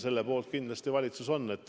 Selle poolt kindlasti valitsus on.